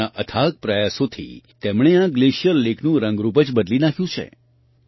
પોતાના અથાગ પ્રયાસોથી તેમણે આ ગ્લેશિયર લેકનું રંગરૂપ જ બદલી નાખ્યું છે